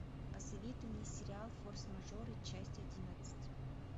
посоветуй мне сериал форс мажоры часть одиннадцать